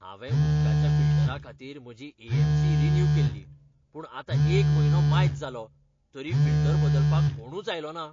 हांवें उदकाच्या फिल्टरा खातीर म्हजी ए.एम.सी. रिन्यू केल्ली, पूण आतां एक म्हयनो मायज जालो, तरी फिल्टर बदलपाक कोणूच आयलोना